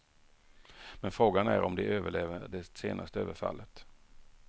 Men frågan är om de överlever det senaste överfallet.